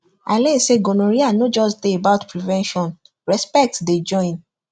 i learn say gonorrhea no just dey about prevention respect dey join